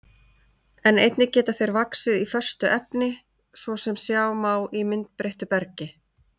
En einnig geta þeir vaxið í föstu efni, svo sem sjá má í myndbreyttu bergi.